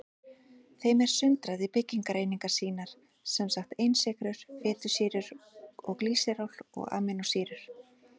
Þeim er sundrað í byggingareiningar sínar, sem sagt einsykrur, fitusýrur og glýseról og amínósýrur.